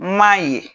M'a ye